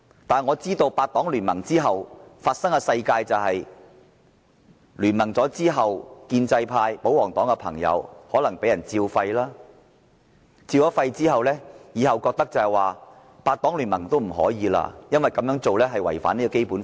但是，我知道八黨聯盟之後，建制派、保皇黨的朋友可能被"照肺"，以致他們覺得以後也不可以再八黨聯盟，因為這樣做是違反《基本法》。